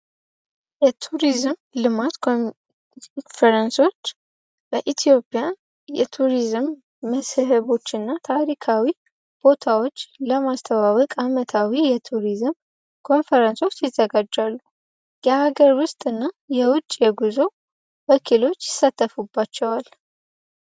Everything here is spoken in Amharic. የቱሪዝም ልማት ኮንሬንሶች በኢትዮጵያ የቱሪዝም መስህቦች እና ታሪካዊ ቦታዎች ለማስተባበቅ አመታዊ የቱሪዝም ኮንፈረንሶች ይዘጋጃሉ። የሀገር ውስጥ እና የውጭ የጉዞ ወኪሎች ይሳተፉባቸዋል።